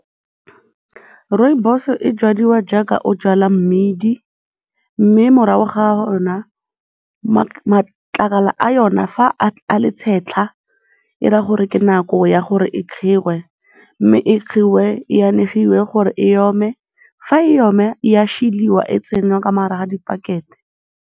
Rooibos e jwadiwa jaaka o jwala mmidi mme morago ga matlakala a yona fa a le tshetlha e raya gore ke nako ya gore e kgiwe mme e kgiwe e anegiwe gore e ome, fa e oma e a šeliwa e tsenngwa ka mo gare ga dipakete.